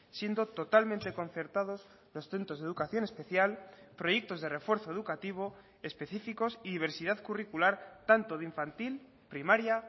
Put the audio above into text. siendo totalmente concertados los centros de educación especial proyectos de refuerzo educativo específicos y diversidad curricular tanto de infantil primaria